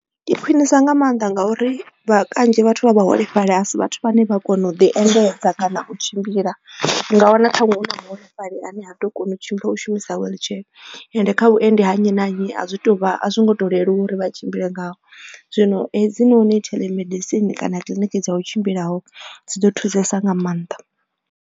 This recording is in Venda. Ndi khwinisa nga maanḓa ngauri vha kanzhi vhathu vha vhuholefhali a si vhathu vhane vha kona u ḓi endedza kana u tshimbila nga wana ṱhaṅwe hu na vhaholefhali ane a ḓo kona u tshimbila u shumisa wheelchair ende kha vhuendedzi ha nnyi na nnyi a zwi tu vha a zwi ngo to leluwa uri vha tshimbile ngazwo zwino hedzinoni telemedicine kana kiliniki dza u tshimbilaho dzi ḓo thusesa nga maanḓa.